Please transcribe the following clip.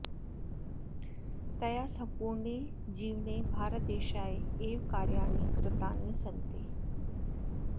तया सम्पूर्णे जीवने भारतदेशाय एव कार्याणि कृतानि सन्ति